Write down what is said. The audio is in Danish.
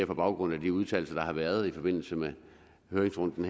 på baggrund af de udtalelser der har været i forbindelse med høringsrunden